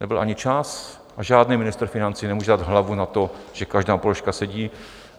Nebyl ani čas a žádný ministr financí nemůže dát hlavu na to, že každá položka sedí.